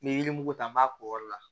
N ye yirimugu ta n b'a k'o yɔrɔ la